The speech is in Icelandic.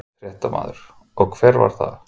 Fréttamaður: Og hver var það?